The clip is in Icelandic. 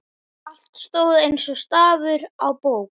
Allt stóð eins og stafur á bók.